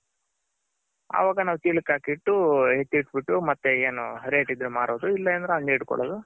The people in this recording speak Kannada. ಅವಾಗ ನಾವು ಚೀಲಕ್ ಹಾಕಿಟ್ಟು ಎತ್ತಿಟ್ ಬಿಟ್ಟು ಮತ್ತೆ ಏನು rate ಇದ್ರೆ ಮಾರೋದು ಇಲ್ಲ ಅಂದ್ರೆ ಹಂಗೆ ಇಟ್ ಕೊಳ್ಳೋದು